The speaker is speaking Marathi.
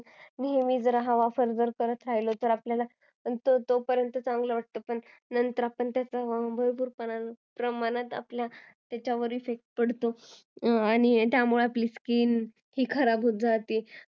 नेहमी जर हा असा आपण वापर करत राहिलो तर तोपर्यंत चांगलं वाटतं नंतर खूप मोठ्या प्रमाणात आपल्या skin वर effect पडतो त्यामुळे आपली skin खराब होत जाते